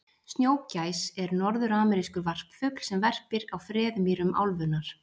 snjógæs er norðuramerískur varpfugl sem verpir á freðmýrum álfunnar